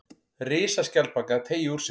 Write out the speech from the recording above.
Risaskjaldbaka að teygja úr sér.